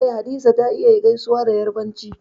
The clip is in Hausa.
Eh Hadiza ta iya gaisuwa da Yarbanci